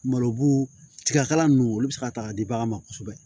Malo bu tiga kala nunnu olu be se ka ta ka di bagan ma kosɛbɛ